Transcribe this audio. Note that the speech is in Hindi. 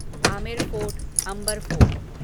Amer fort Amber fort